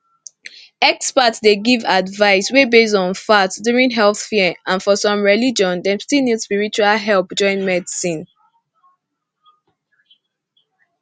experts dey give advice wey base on fact during health fear and for some religion dem still need spiritual help join medicine